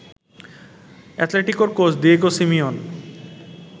আতলেতিকোর coach Diego Simeon